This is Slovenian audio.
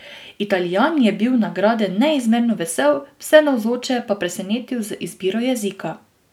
Italijan je bil nagrade neizmerno vesel, vse navzoče pa presenetil z izbiro jezika.